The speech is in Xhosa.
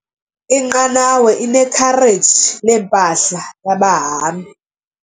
Inqanawa inekhareji lempahla yabahambi.